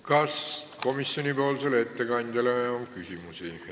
Kas komisjoni ettekandjale on küsimusi?